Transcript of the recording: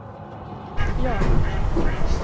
Björna